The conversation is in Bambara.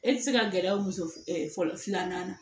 E ti se ka gɛrɛ aw muso ɛ fɔlɔ filanan na